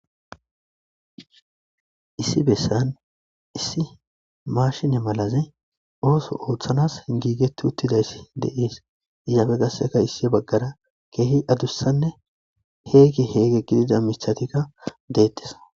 issi bessan issi mashine malazi ooso ooththanas giigeti uttidayssi de'ess izaafe gasseka issi baggara keehi adussanne heegi heege gidida mithatika deettes